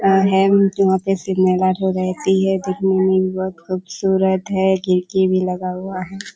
और है लेकिन वहाँ पे भी रहती है। दिखने में भी बहुत खूबसूरत है खिड़की भी लगा हुआ है।